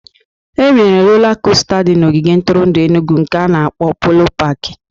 E nwere rola costa di na ogige ntụrụndụ Enugwu nke ana-akpọ Polo paki